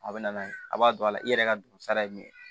A bɛ na n'a ye a b'a don a la i yɛrɛ ka dugu sara ye min ye